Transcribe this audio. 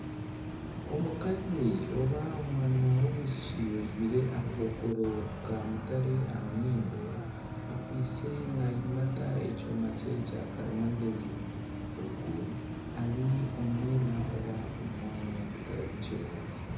Omukazi oba omwana w'omwishiki ajwaire akakokoro kamutare aha nyindo, akwaitse nayimata ekyoma kye may karimagyezi ogu ari omu mwirima nari omwanya ogutarimu kyererezi.